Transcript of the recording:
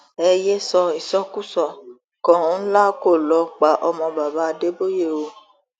ẹ yéé sọ ìsọkúsọ kọńlá kó lọ pa ọmọ baba adébóye o